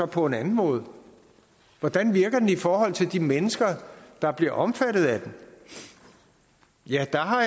på en anden måde hvordan virker den i forhold til de mennesker der bliver omfattet af den jeg har